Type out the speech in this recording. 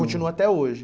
Continua até hoje?